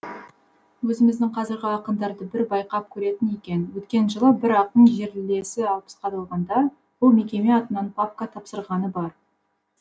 өзіміздің қазіргі ақындарды бір байқап көретін екен өткен жылы бір ақын жерлесі алпысқа толғанда бұл мекеме атынан папка тапсырғаны бар